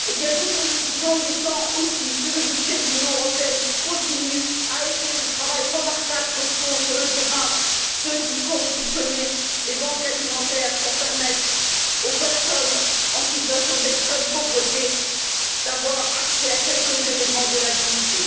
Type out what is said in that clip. Nous, nous disons qu'il est temps aussi que le budget de l'Union européenne continue à aider le travail remarquable qu'accomplissent sur le terrain ceux qui font fonctionner les banques alimentaires en vue de permettre aux personnes en situation d'extrême pauvreté d'avoir accès à un peu de dignité.